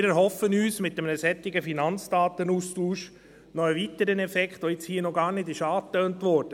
Wir erhoffen uns von einem solchen Finanzdatenaustausch noch einen weiteren Effekt, der hier noch gar nicht angetönt wurde: